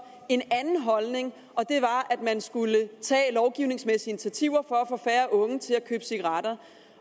en anden holdning og det var at man skulle tage lovgivningsmæssige initiativer for at få færre unge til at købe cigaretter